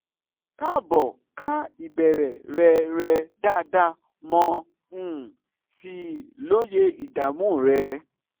kaabomo ka ìbéèrè rẹ rẹ dáadáa mo um sì lóye ìdààmú rẹ